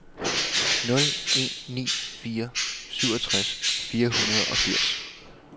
nul en ni fire syvogtres fire hundrede og firs